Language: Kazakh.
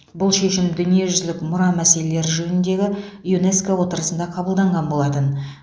бұл шешім дүниежүзілік мұра мәселелері жөніндегі юнеско отырысында қабылданған болатын